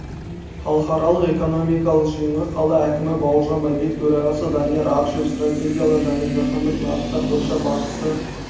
халықаралық экономикалық жиынға қала әкімі бауыржан байбек төрағасы данияр ақышев стратегиялар және жаһандық нарықтар бойынша басшысы